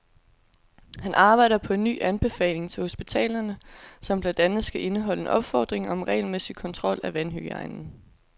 Han arbejder på en ny anbefaling til hospitalerne, som blandt andet skal indeholde en opfordring om regelmæssig kontrol af vandhygiejnen.